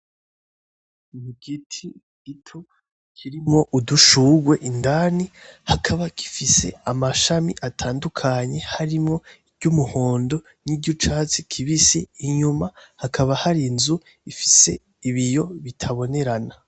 Igiti gito cirimo udushugwe indani hakaba gifise amashami atandukanye harimo ijyu’muhondo nijyicyatsi kibisi inyuma hakaba hari inzu ifise ibiyo bitabonerana.